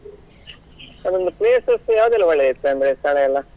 ಅದು ಒಂದು places ಯಾವುದೆಲ್ಲ ಒಳ್ಳೆದಿರ್ತದೆ ಅಂದ್ರೆ ಸ್ಥಳ ಎಲ್ಲ?